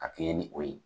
A kɛɲɛ ni o ye